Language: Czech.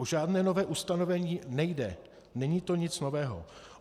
O žádné nové ustanovení nejde, není to nic nového.